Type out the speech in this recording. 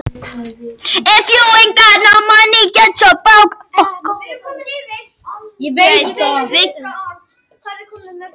Ekki nógu dugleg.